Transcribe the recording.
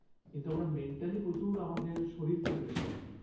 কিন্তু আমরা mentally প্রচুর আমাদের শরীরকে pressure দিই